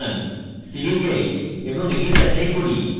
ফিরে যাই এবং এটি যাচাই করি